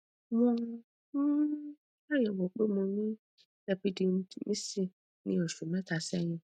wọn um ṣàyẹwò pé mo ní epididymitis ní oṣù mẹta sẹyìn